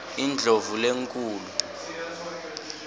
indlovulenkhulu